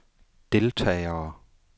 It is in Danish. deltagere